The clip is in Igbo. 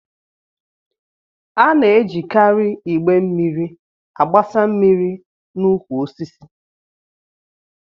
A na-ejikarị igbé mmiri agbasa mmiri n'ukwu osisi